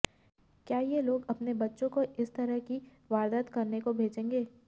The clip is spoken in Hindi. क्या ये लोग अपने बच्चों को इस तरह की वारदात करने को भेजेंगे